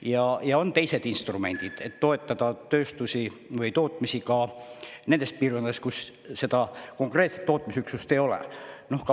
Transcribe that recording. Ja on veel teisi instrumente, millega toetada tööstusi või tootmisi ka nendes piirkondades, kus konkreetset tootmisüksust ei ole.